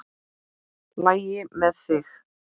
LAGI MEÐ ÞIG?